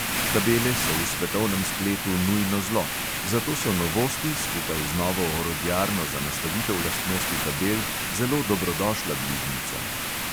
Tabele so v svetovnem spletu nujno zlo, zato so novosti, skupaj z novo orodjarno za nastavitev lastnosti tabel, zelo dobrodošla bližnjica.